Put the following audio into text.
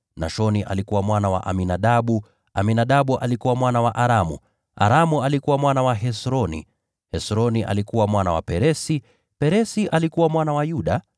Nashoni alikuwa mwana wa Aminadabu, Aminadabu alikuwa mwana wa Aramu, Aramu alikuwa mwana wa Hesroni, Hesroni alikuwa mwana wa Peresi, Peresi alikuwa mwana wa Yuda,